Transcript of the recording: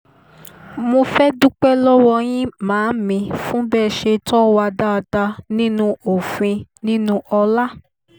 mo fẹ́ẹ́ dúpẹ́ lọ́wọ́ yín màámi fún bẹ́ ẹ ṣe tó wà dáadáa nínú òfin nínú ọlá